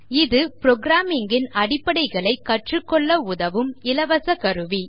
இது புரோகிராமிங் இன் அடிப்படைகளைக் கற்றுக்கொள்ள உதவும் இலவசக் கருவி